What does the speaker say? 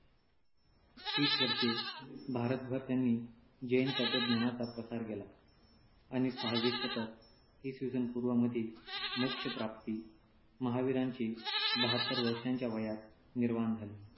तीस वर्षे भारतभर त्यांनी जैन तत्त्वज्ञानाचा प्रचार केला. आणि सहावे शतक इसवी सन पूर्व मध्ये मोक्ष प्राप्ती - महावीरांचे बहात्तर वर्षांच्या वयात निर्वाण झाले.